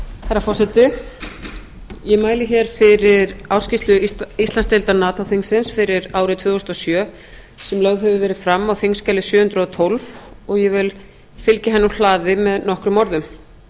herra forseti ég mæli hér fyrir ársskýrslu íslandsdeildar nato þingsins fyrir árið tvö þúsund og sjö sem lögð hefur verið fram á þingskjali sjö hundruð og tólf og ég vil fylgja henni úr hlaði með nokkrum orðum